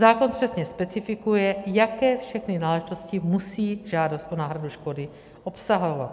Zákon přesně specifikuje, jaké všechny náležitosti musí žádost o náhradu škody obsahovat.